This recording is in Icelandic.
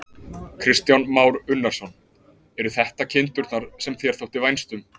Kristján Már Unnarsson: Eru þetta kindurnar sem þér þótti vænst um?